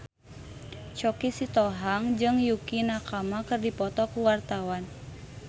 Choky Sitohang jeung Yukie Nakama keur dipoto ku wartawan